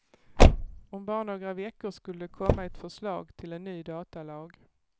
Om bara några veckor skulle det komma ett förslag till en ny datalag.